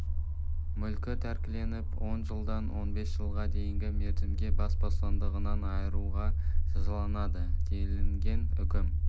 мүлкі тәркіленіп он жылдан он бес жылға дейінгі мерзімге бас бостандығынан айыруға жазаланады делінген үкім